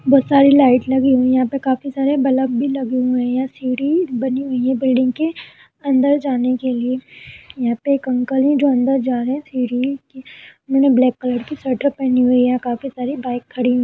बहोत सारी लाइट लगी हुई हैं। यहां पे काफी सारे बलफ भी लगे हुए हैं। सीढ़ी बनी हुई है बिल्डिंग के अंदर जाने के लिए। यहां पे एक अंकल हैं जो अंदर जा रहे हैं सीढ़ी के। उन्होंने ब्लैक कलर की स्वेटर पहनी हुई है। काफी सारी बाइक्स खड़ी हुई --